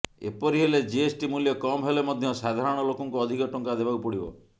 ଏପରି ହେଲେ ଜିଏସଟି ମୂଲ୍ୟ କମ ହେଲେ ମଧ୍ୟ ସାଧାରଣ ଲୋକଙ୍କୁ ଅଧିକ ଟଙ୍କା ଦେବାକୁ ପଡ଼ିବ